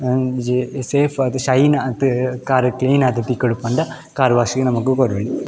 ಒಂಜಿ ಸೇಫ್ ಆದ್ ಶೈನ್ ಆದ್ ಕಾರ್ ಕ್ಲೀನ್ ಆದ್ ತಿಕ್ಕೊಡು ಪಂಡ ಕಾರ್ ವಾಶ್ ನಮಕ್ ಕೊರೊಲಿ.